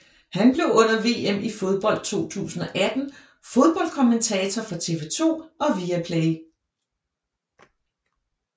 Han blev under VM i fodbold 2018 fodboldkommentator for TV2 og Viaplay